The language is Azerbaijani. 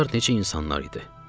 Bunlar necə insanlar idi?